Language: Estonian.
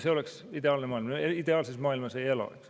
See oleks ideaalne maailm, aga me ideaalses maailmas ei ela.